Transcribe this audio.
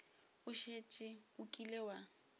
o šetše o kile wa